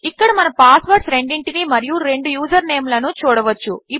ఇక్కడ మన పాస్వర్డ్స్ రెండింటినీ మరియు 2 యూజర్నేమ్స్ లను చూడవచ్చు